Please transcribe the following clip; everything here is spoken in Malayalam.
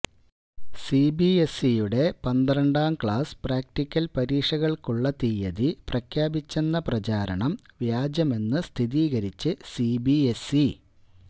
സിബിഎസ്ഇയുടെ പന്ത്രണ്ടാം ക്ലാസ് പ്രാക്ടിക്കൽ പരീക്ഷകൾക്കുള്ള തിയതി പ്രഖ്യാപിച്ചെന്ന പ്രചാരണം വ്യാജമെന്ന് സ്ഥിരീകരിച്ച് സിബിഎസ്ഇ